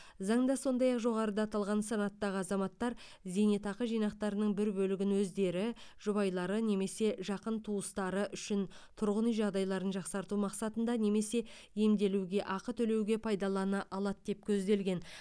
заңда сондай ақ жоғарыда аталған санаттағы азаматтар зейнетақы жинақтарының бір бөлігін өздері жұбайлары немесе жақын туыстары үшін тұрғын үй жағдайларын жақсарту мақсатында немесе емделуге ақы төлеуге пайдалана алады деп көзделген